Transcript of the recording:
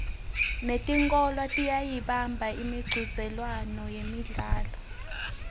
netikolwa tiyayibamba imicudzelwano yemidlalo